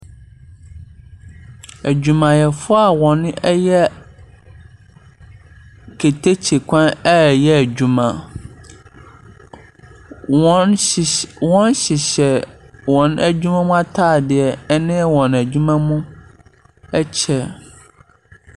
Adwumayɛfo a wɔn ɛyɛ keteke kwan ɛyɛ adwuma. Wɔn hyehyɛ adwuma mu ataadeɛ ɛne wɔn adwuma mu ɛkyɛ.